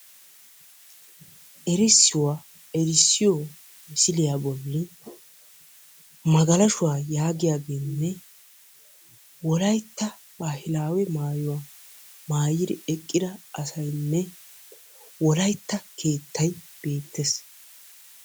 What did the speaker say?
errissuwaa erissiyo misiliya bolli magalashuwa yaagiyaageenne wolaytta baahilaawe maayuwa maayidi eqqida asaynne wolaytta keettay beettees.